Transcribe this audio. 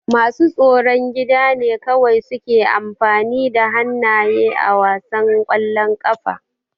Masu tsaron gida ne kawai suke amfani da hannaye a wasan ƙwallon ƙafa.